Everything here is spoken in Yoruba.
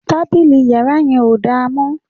Tábìlì yàrá yẹn ò dára mọ́